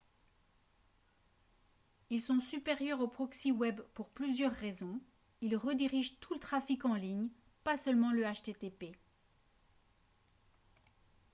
ils sont supérieurs aux proxy web pour plusieurs raisons ils redirigent tout le trafic en ligne pas seulement le http